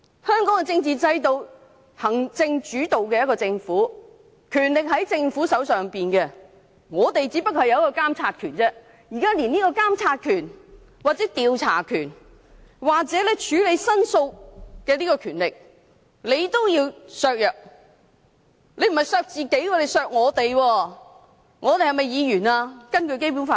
香港行政主導，權力在政府手上，立法會只擁有監察權，現時連監察權、調查權或處理申訴的權力也要被削弱——不是削弱建制派的而是我們的權力。